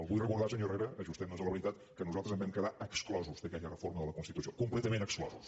vull recordar senyor herrera ajustemnos a la veritat que nosaltres en vam quedar exclosos d’aquella reforma de la constitució completament exclosos